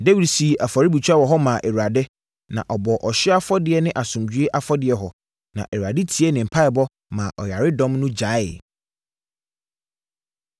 Dawid sii afɔrebukyia wɔ hɔ maa Awurade, na ɔbɔɔ ɔhyeɛ afɔdeɛ ne asomdwoeɛ afɔdeɛ hɔ. Na Awurade tiee ne mpaeɛbɔ maa ɔyaredɔm no gyaee.